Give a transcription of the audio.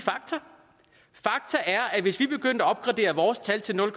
at vi begyndte at opgradere vores tal til nul